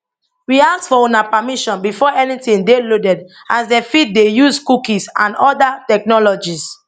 we ask for una permission before anytin dey loaded as dem fit dey use use cookies and oda technologies